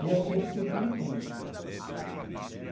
E assim eu fiquei por um tempo, cara.